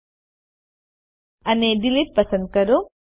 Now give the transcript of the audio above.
context menu જોવા માટે જમણું ક્લિક કરો અને ડિલીટ પસંદ કરો